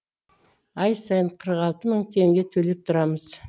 ай сайын қырық алты мың теңге төлеп тұрамыз